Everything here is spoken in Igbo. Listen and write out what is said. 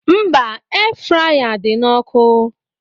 Mba, Air fraya dị na ọkụ